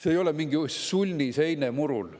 See ei ole mingi sulnis eine murul.